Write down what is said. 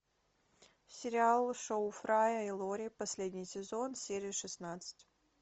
сериал шоу фрая и лори последний сезон серия шестнадцать